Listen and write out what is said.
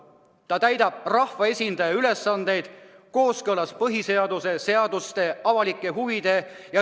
Ta täidab rahvaesindaja ülesandeid kooskõlas põhiseaduse, seaduste, avalike huvide ja ...